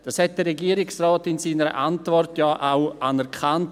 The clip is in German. Das hat der Regierungsrat in seiner Antwort ja auch anerkannt.